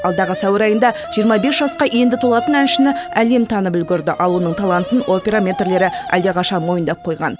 алдағы сәуір айында жиырма бес жасқа енді толатын әншіні әлем танып үлгерді ал оның талантын опера мэтрлері әлдеқашан мойындап қойған